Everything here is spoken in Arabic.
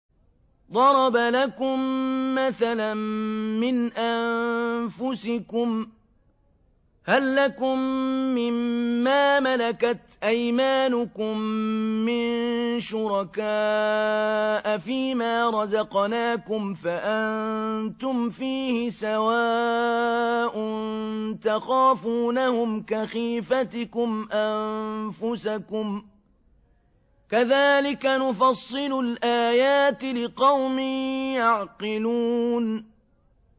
ضَرَبَ لَكُم مَّثَلًا مِّنْ أَنفُسِكُمْ ۖ هَل لَّكُم مِّن مَّا مَلَكَتْ أَيْمَانُكُم مِّن شُرَكَاءَ فِي مَا رَزَقْنَاكُمْ فَأَنتُمْ فِيهِ سَوَاءٌ تَخَافُونَهُمْ كَخِيفَتِكُمْ أَنفُسَكُمْ ۚ كَذَٰلِكَ نُفَصِّلُ الْآيَاتِ لِقَوْمٍ يَعْقِلُونَ